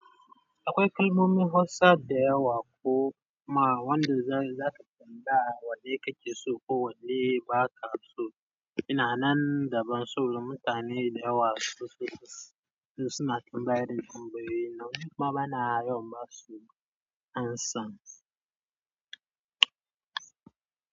Akwai kalmomin Hausa da yawa ko ma wanda za su tambaya wanne kake so ko wanne ba ka so. Ina nan da ban so mutane da yawa sosai, suna tambayar da tambayoyi na kuma bana yawan ba su amsa.